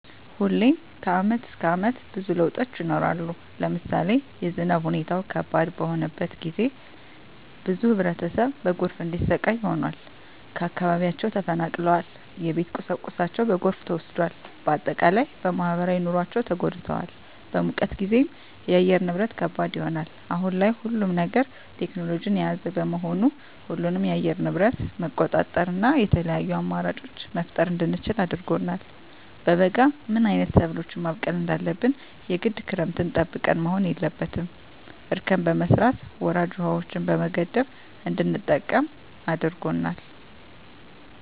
ሁሌም ከአመት እስከ አመት ብዙ ለውጦች ይኖራሉ። ለምሳሌ የዝናብ ሁኔታው ከባድ በሆነበት ጊዜ ብዙ ህብረተሰብ በጎርፍ እንዲሰቃይ ሆኗል። ከአካባቢያቸው ተፈናቅለዋል የቤት ቁሳቁሳቸው በጎርፍ ተወስዷል። በአጠቃላይ በማህበራዊ ኑሯቸው ተጎድተዋል። በሙቀት ጊዜም የአየር ንብረት ከባድ ይሆናል። አሁን ላይ ሁሉም ነገር ቴክኖሎጅን የያዘ በመሆኑ ሁሉንም የአየር ንብረት መቆጣጠር እና የተለያዪ አማራጮች መፍጠር እንድንችል አድርጎናል። በበጋ ምን አይነት ሰብሎችን ማብቀል እንዳለብን የግድ ክረምትን ጠብቀን መሆን የለበትም እርከን በመስራት ወራጅ ውሀዎችን በመገደብ እንድንጠቀም አድርጎናል።